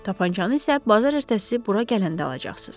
Tapançanı isə bazar ertəsi bura gələndə alacaqsız.